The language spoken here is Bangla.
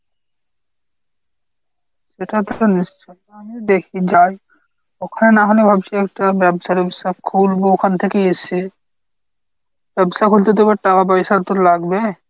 সেটা তো নিশ্চয়ই। আমিও দেখি যাই। ওখানে না হলে ভাবছি একটা ব্যবসা টেবসা খুলবো ওখান থেকেই এসে। ব্যবসা করতে তো আবার টাকা পয়সা তো লাগবে